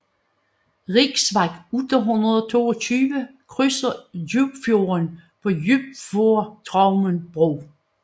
Riksvej 822 krydser Djupfjorden på Djupfjordstraumen bro